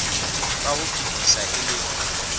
ka ho fetisisa e leng